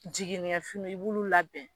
Jiginni kɛ fini i b'olu labɛn